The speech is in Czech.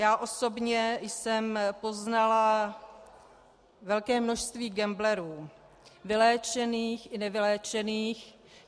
Já osobně jsem poznala velké množství gamblerů - vyléčených i nevyléčených.